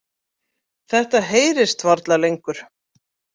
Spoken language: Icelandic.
Þetta heyrist varla lengur.